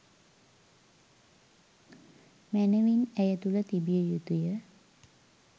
මැනවින් ඇය තුළ තිබිය යුතුය.